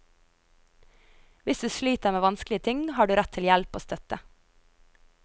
Hvis du sliter med vanskelige ting, har du rett til hjelp og støtte.